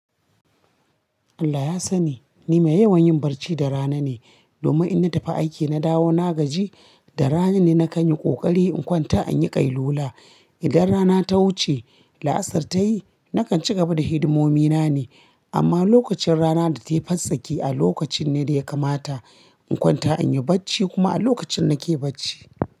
Allah ya sani ni mai yawan yin barci da rana ne, domin in na tafi aiki na dawo na gaji, da rana ne na kanyi ƙoƙari in kwanta an yi ƙai lula. Idan rana ta wuce la'asar ta yi, nakan ci gaba da hidimomi na ne. Amma lokacin rana data yi fantsaki a lokacin ne da ya kamata in kwanta in yi barci kuma a lokacin nake barci.